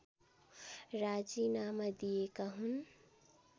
राजीनामा दिएका हुन्